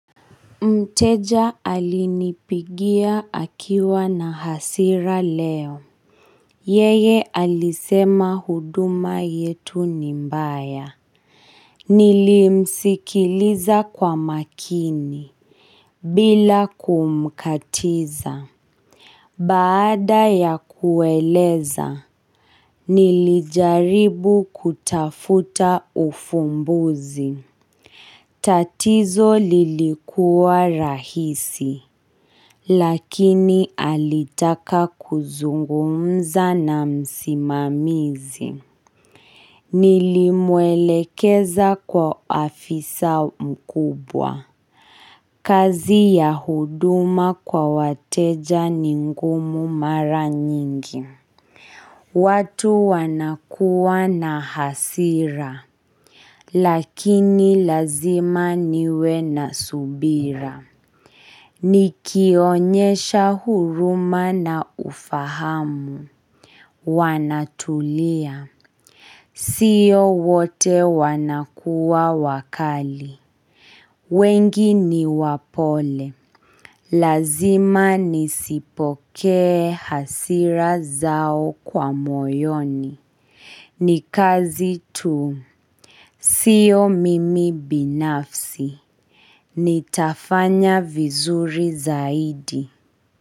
Mteja alinipigia akiwa na hasira leo Yeye alisema huduma yetu nimbaya Nilimsikiliza kwa makini bila kumkatiza Baada ya kueleza Nilijaribu kutafuta ufumbuzi tatizo lilikuwa rahisi Lakini alitaka kuzungumza na msimamizi Nilimwelekeza kwa afisa mkubwa kazi ya huduma kwa wateja ningumu mara nyingi watu wanakuwa na hasira Lakini lazima niwe na subira Nikionyesha huruma na ufahamu Wanatulia Sio wote wanakuwa wakali wengi ni wapole Lazima nisipoke hasira zao kwa moyoni Nikazi tu Sio mimi binafsi Nitafanya vizuri zaidi.